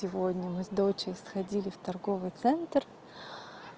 сегодня мы с дочей сходили в торговый центр